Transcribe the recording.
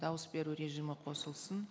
дауыс беру режимі қосылсын